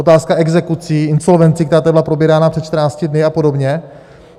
Otázka exekucí, insolvencí, která tady byla probírána před 14 dny, a podobně.